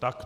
Tak.